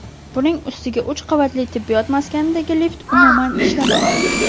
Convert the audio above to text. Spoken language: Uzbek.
Buning ustiga uch qavatli tibbiyot maskanidagi lift umuman ishlamaydi.